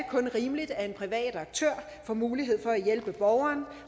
kun rimeligt at en privat aktør får mulighed for at hjælpe borgeren